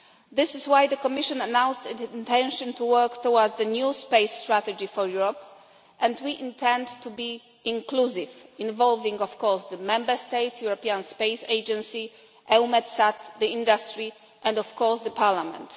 This is why the Commission announced its intention to work towards the new space strategy for Europe, and we intend to be inclusive involving, of course, the Member States, the European Space Agency, EUMETSAT, the industry and, of course, Parliament.